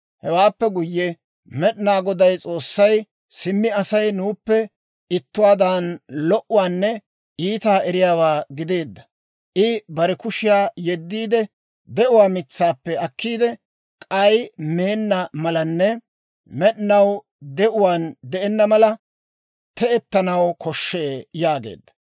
Hewaappe guyye Med'inaa Goday S'oossay, «Simmi Asay nuuppe ittuwaadan lo"uwaanne iitaa eriyaawaa gideedda. I bare kushiyaa yeddiide, de'uwaa mitsaappe akkiidde, k'ay meenna malanne med'inaw de'uwaan de'enna mala te'ettanaw koshshee» yaageedda.